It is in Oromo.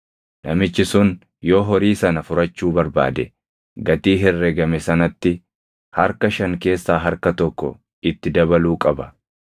Namichi sun yoo horii sana furachuu barbaade gatii herregame sanatti harka shan keessaa harka tokko itti dabaluu qaba.